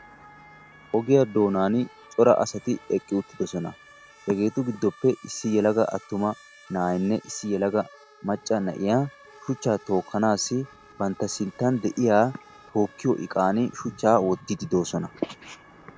Ogiya doonaani cora asati eqqi uttidosona. Hegeetu giddoppe issi yelaga attuma na'aynne issi macca na'iya shuchchaa tookkanaassi bantta sinttan de'iya tookkiyo iqan shuchchaa wottiiddi de'oosona.